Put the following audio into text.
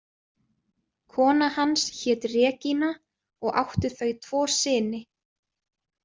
Kona hans hét Regína og áttu þau tvo syni.